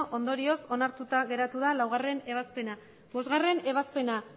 ondorioz onartuta geratu da laugarrena ebazpena bostgarrena ebazpena